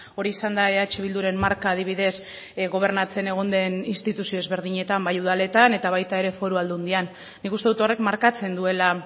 hori izan da eh bilduren marka adibidez gobernatzen egon den instituzio ezberdinetan bai udaletan eta baita ere foru aldundian nik uste dut horrek markatzen duela